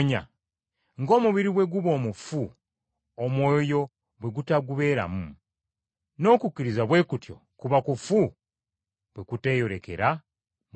Ng’omubiri bwe guba omufu omwoyo bwe gutagubeeramu, n’okukkiriza bwe kutyo kuba kufu bwe kuteeyolekera mu bikolwa.